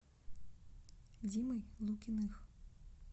димой лукиных